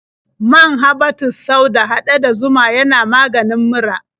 Man habbatus sauda haɗe da zuma yana maganin mura.